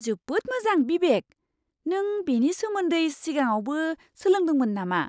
जोबोद मोजां बिबेक! नों बेनि सोमोन्दै सिगाङावबो सोलोंदोंमोन नामा!